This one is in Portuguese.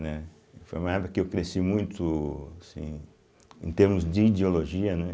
Né. Foi uma época que eu cresci muito assim em termos de ideologia.